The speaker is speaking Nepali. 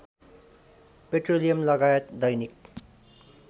पेट्रोलियम लगायत दैनिक